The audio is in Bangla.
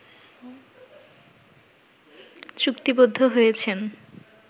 চুক্তিবদ্ধ হয়েছেন